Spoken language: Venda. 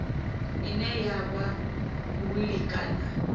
ine ya vha wili kana